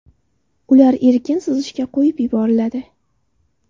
Ular erkin suzishga qo‘yib yuboriladi.